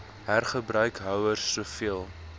hergebruik houers soveel